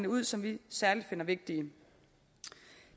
ud som vi særlig finder vigtige